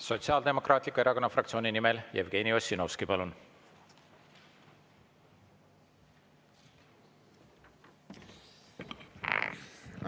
Sotsiaaldemokraatliku Erakonna fraktsiooni nimel Jevgeni Ossinovski, palun!